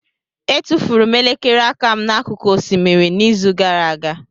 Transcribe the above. Etufuru m elekere aka m n'akụkụ osimiri n'izu gara aga.